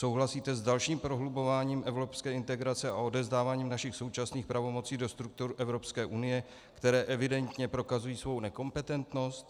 Souhlasíte s dalším prohlubováním evropské integrace a odevzdáváním našich současných pravomocí do struktur Evropské unie, které evidentně prokazují svou nekompetentnost?